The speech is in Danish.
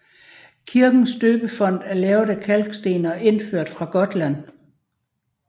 Kirkens døbefont er lavet af kalksten og indført fra Gotland